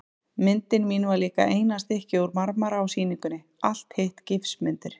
Myndin mín var líka eina stykkið úr marmara á sýningunni, hitt allt gifsmyndir.